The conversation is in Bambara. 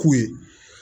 K'u ye